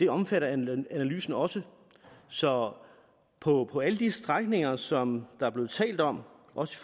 omfatter analysen også så på alle de strækninger som der er blevet talt om også